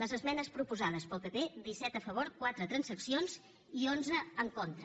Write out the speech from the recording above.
les esmenes proposades pel pp disset a favor quatre transaccions i onze en contra